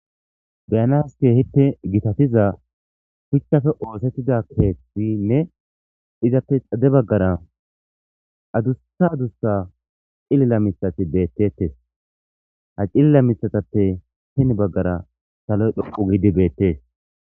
Beyanas ke hitte gitatiza phuchchafe oosettida keethtinne izappe xade baggara adussa adussa cilila misati beettetes ha cilila mitatappe hin baggara saloy dhoqu gidi beettees.